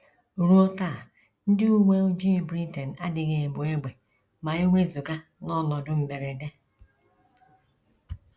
Ruo taa ndị uwe ojii Britain adịghị ebu égbè ma e wezụga n’ọnọdụ mberede.